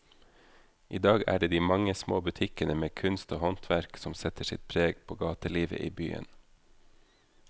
I dag er det de mange små butikkene med kunst og håndverk som setter sitt preg på gatelivet i byen.